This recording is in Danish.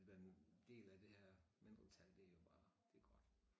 Været en del af det her mindretal det jo bare det godt